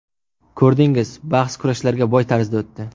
Ko‘rdingiz, bahs kurashlarga boy tarzda o‘tdi.